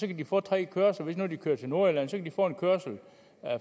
kan de få tre kørsler hvis nu de kører til nordjylland kan de få en kørsel